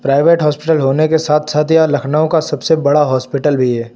Private hospital होने के साथ साथ यह लखनऊ का सबसे बड़ा हॉस्पिटल भी है।